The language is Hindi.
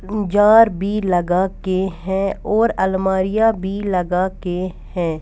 जार भी लगा के हैं और अलमारियां भी लगा के हैं.